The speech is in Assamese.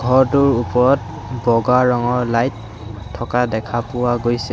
ঘৰটোৰ ওপৰত বগা ৰঙৰ লাইট থকা দেখা পোৱা গৈছে।